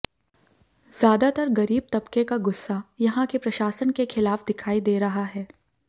ज्यादातर गरीब तबके का गुस्सा यहां के प्रशासन के खिलाफ दिखाई दे रहा है